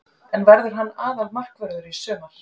En verður hann aðalmarkvörður í sumar?